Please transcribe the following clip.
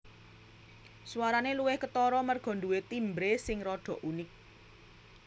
Swarane luwih ketara merga nduwe timbre sing rada unik